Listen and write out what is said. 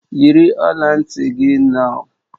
Yiri ọla ntị gị nau!